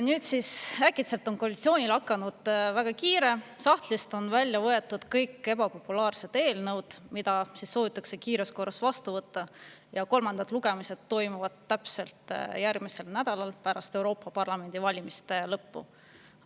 Nüüd siis äkitselt on koalitsioonil hakanud väga kiire, sahtlist on välja võetud kõik ebapopulaarsed eelnõud, mis soovitakse kiires korras vastu võtta, ja kolmandad lugemised toimuvad täpselt järgmisel nädalal pärast Euroopa Parlamendi valimiste lõppu.